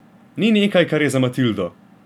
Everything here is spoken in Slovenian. Ni nekaj, kar je za Matildo.